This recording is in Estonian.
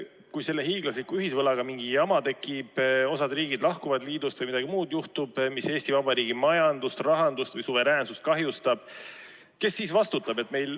Kui selle hiiglasliku ühisvõlaga mingi jama tekib, näiteks osa riike lahkub liidust või juhtub midagi muud, mis Eesti Vabariigi majandust, rahandust või suveräänsust kahjustab, kes siis vastutab?